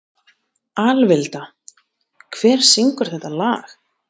Alvilda, hver syngur þetta lag?